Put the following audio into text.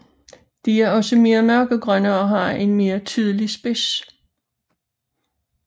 De er også mere mørkegrønne og har en mere tydelig spids